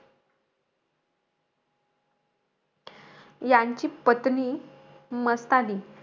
यांची पत्नी मस्तानी,